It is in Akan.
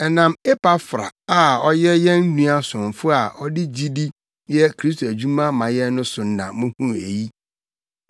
Ɛnam Epafra a ɔyɛ yɛn nua somfo a ɔde gyidi yɛ Kristo adwuma ma yɛn no so na muhuu eyi.